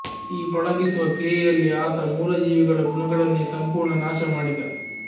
ಈ ಪಳಗಿಸುವ ಕ್ರಿಯೆಯಲ್ಲಿ ಆತ ಮೂಲಜೀವಿಗಳ ಗುಣಗಳನ್ನೆ ಸಂಪೂರ್ಣ ನಾಶ ಮಾಡಿದ